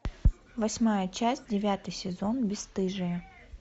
восьмая часть девятый сезон бесстыжие